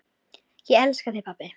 Það er þungt.